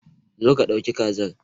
Zo ka dauki kazar.